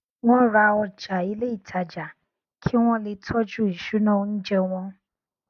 wọn ra ọjà ilé ìtajà kí wọn le tọjú ìṣúná oúnjẹ wọn